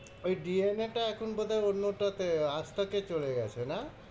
ওই DNA এ টা এখন বোধ হয় অন্যটাতে আস্তাকে চলে গেছে না?